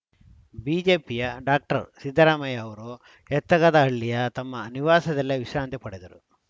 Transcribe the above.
ಬಿಜೆಪಿಯ ಡಾಕ್ಟರ್ ಸಿದ್ದರಾಮಯ್ಯ ಅವರು ಯತ್ತಗದಹಳ್ಳಿಯ ತಮ್ಮ ನಿವಾಸದಲ್ಲೇ ವಿಶ್ರಾಂತಿ ಪಡೆದರು